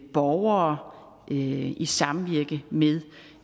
borgere i i samvirke med